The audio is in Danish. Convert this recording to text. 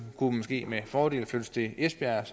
kunne måske med fordel flyttes til esbjerg